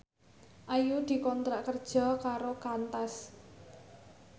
Ayu dikontrak kerja karo Qantas